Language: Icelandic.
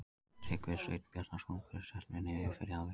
Tryggvi Sveinn Bjarnason kom Stjörnunni yfir í fyrri hálfleik.